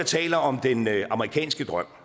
taler om den amerikanske drøm